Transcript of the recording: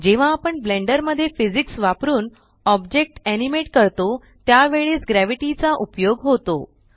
जेव्हा आपण ब्लेंडर मध्ये फिजिक्स वापरुन ऑब्जेक्ट एनिमेट करतो त्यावेळेस ग्रॅव्हिटी चा उपयोग होतो